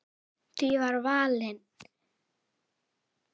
Var því valinn staður í